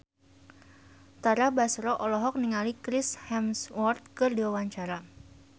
Tara Basro olohok ningali Chris Hemsworth keur diwawancara